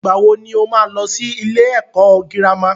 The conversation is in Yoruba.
Ìgbà wo ni ó máa lọ sí ilé ẹ̀kọ́ girama?